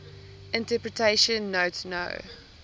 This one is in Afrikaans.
interpretation note no